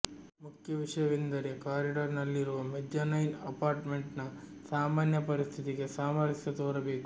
ಮುಖ್ಯ ವಿಷಯವೆಂದರೆ ಕಾರಿಡಾರ್ನಲ್ಲಿರುವ ಮೆಜ್ಜಾನೈನ್ ಅಪಾರ್ಟ್ಮೆಂಟ್ನ ಸಾಮಾನ್ಯ ಪರಿಸ್ಥಿತಿಗೆ ಸಾಮರಸ್ಯ ತೋರಬೇಕು